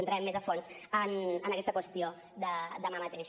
entrarem més a fons en aquesta qüestió demà mateix